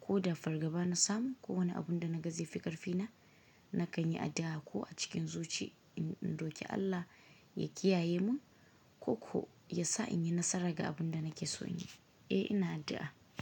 ko da fargaba na samu ko wani abun da naga zaifi ƙarfi na, na kanyi addu'a ko a cikin zuci in in roki Allah ya kiyaye mun ko ko ya sa inyi nasara ga abun da nakeso in yi, eh ina addu'a.